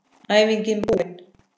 Æfingin búin!